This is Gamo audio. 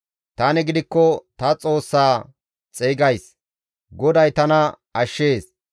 Tani gidikko ta Xoossa xeygays; GODAY tana ashshees.